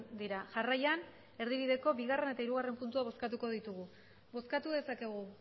dira jarraian erdibideko bigarrena eta hirugarrena puntua bozkatuko ditugu bozkatu dezakegu